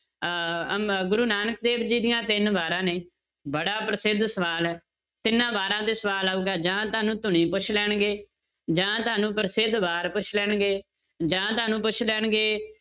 ਅਹ ਅਮ~ ਗੁਰੂ ਨਾਨਕ ਦੇਵ ਜੀ ਦੀਆਂ ਤਿੰਨ ਵਾਰਾਂ ਨੇ ਬੜਾ ਪ੍ਰਸਿੱਧ ਸਵਾਲ ਹੈ, ਤਿੰਨਾਂ ਵਾਰਾਂ ਤੇ ਸਵਾਲ ਆਊਗਾ ਜਾਂ ਤੁਹਾਨੂੰ ਧੁਨੀ ਪੁੱਛ ਲੈਣਗੇ ਜਾਂ ਤੁਹਾਨੂੰ ਪ੍ਰਸਿੱਧ ਵਾਰ ਪੁੱਛ ਲੈਣਗੇ, ਜਾਂ ਤੁਹਾਨੂੰ ਪੁੱਛ ਲੈਣਗੇ